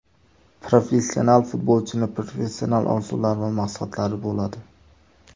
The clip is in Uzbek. Professional futbolchining professional orzulari va maqsadlari bo‘ladi.